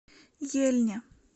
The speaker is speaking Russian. ельне